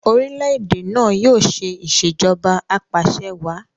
orilẹ-ède náa yóò ṣe Ìṣèjọba Apaṣẹwàá